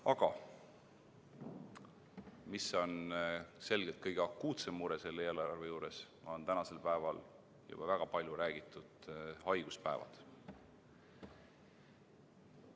Aga mis on selgelt kõige akuutsem mure selle eelarve juures, on need tänasel päeval juba väga palju räägitud haiguspäevad.